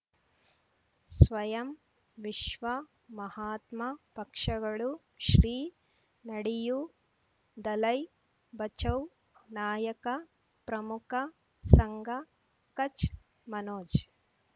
ಸ್ವಯಂ ವಿಶ್ವ ಮಹಾತ್ಮ ಪಕ್ಷಗಳು ಶ್ರೀ ನಡೆಯೂ ದಲೈ ಬಚೌ ನಾಯಕ ಪ್ರಮುಖ ಸಂಘ ಕಚ್ ಮನೋಜ್